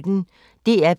DR P1